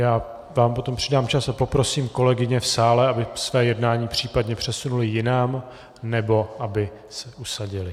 Já vám potom přidám čas a poprosím kolegyně v sále, aby své jednání případně přesunuly jinam, nebo aby se usadily.